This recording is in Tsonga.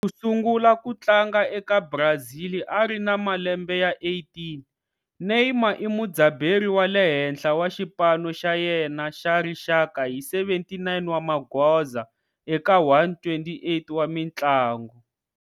Ku sungula ku tlanga eka Brazil ari na malembe ya 18, Neymar i mudzaberi wa le henhla wa xipano xa yena xa rixaka hi 79 wa magoza eka 128 wa mintlangu.